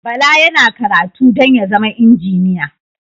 Bala yana karatu don ya zama injiniya